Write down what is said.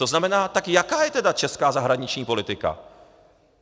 To znamená, tak jaká je teda česká zahraniční politika?